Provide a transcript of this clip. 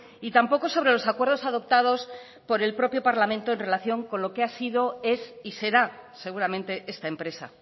y tampoco sobre los acuerdos adoptados por el propio parlamento en relación con lo que ha sido es y será seguramente esta empresa